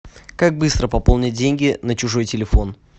как быстро пополнить деньги на чужой телефон